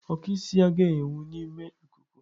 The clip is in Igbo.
Oku isi agaghị enwu n'ime ikuku.